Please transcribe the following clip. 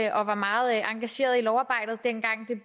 og var meget engageret i lovarbejdet dengang det